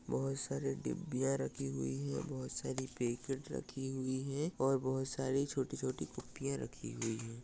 बहुत सारी डिब्बिया रखी हुई है। बहुत सारी पैकेट रखी हुई है और बहुत सारी छोटी-छोटी फ़ुनफ़िया रखी हुई है।